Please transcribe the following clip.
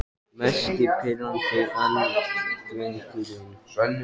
Mest pirrandi andstæðingurinn?